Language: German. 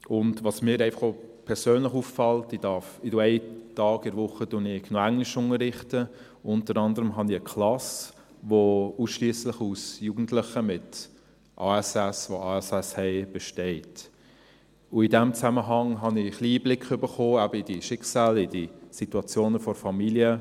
Und was mir einfach auch persönlich auffällt – ich darf einen Tag pro Woche Englisch unterrichten, unter anderem habe ich eine Klasse, die ausschliesslich aus Jugendlichen besteht, die ASS haben –, und in diesem Zusammenhang habe ich ein wenig Einblick erhalten, eben in diese Schicksale, in diese Situationen der Familien.